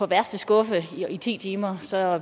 værste skuffe i ti timer så